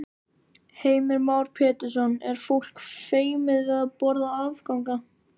Heimir Már Pétursson: Er fólk feimið við að borða afganga?